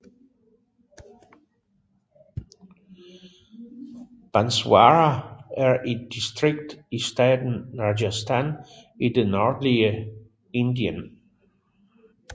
Banswara er et distrikt i staten Rajasthan i det nordlige Indien